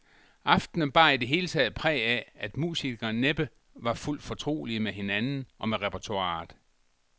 Aftenen bar i det hele taget præg af, at musikerne næppe var fuldt fortrolige med hinanden og med repertoiret.